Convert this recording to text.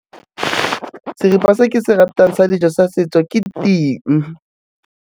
Seripa se ke se ratang sa dijo sa setso ke ting.